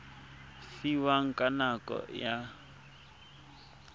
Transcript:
fiwang ka nako e a